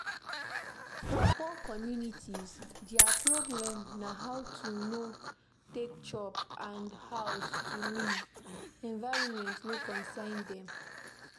For poor communities, their problem na how to take chop and house to live, environment no consign them